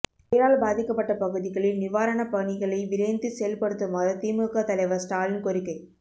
புயலால் பாதிக்கப்பட்ட பகுதிகளில் நிவாரணப் பணிகளை விரைந்து செயல்படுத்துமாறு திமுக தலைவர் ஸ்டாலின் கோரிக்கை